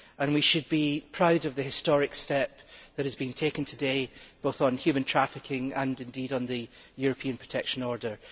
We should be proud of the historic step that has been taken today, both on human trafficking and, indeed, on the European Protection Order.